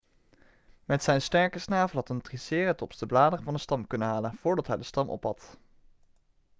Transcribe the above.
met zijn sterke snavel had een triceratops de bladeren van de stam kunnen halen voordat hij de stam opat